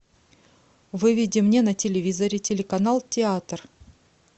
выведи мне на телевизоре телеканал театр